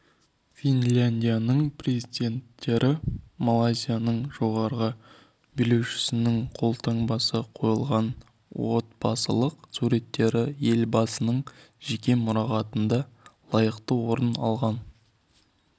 финляндияның президенттері малайзияның жоғары билеушісінің қолтаңбасы қойылған отбасылық суреттері елбасының жеке мұрағатында лайықты орын алған